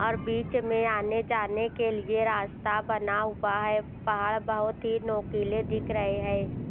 और बीच में आने जाने के लिए रास्ता बना हुआ है पहाड़ बहोत ही नोकीले दिख रहे हैं।